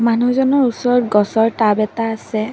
মানুহজনৰ ওচৰত গছৰ টাব এটা আছে।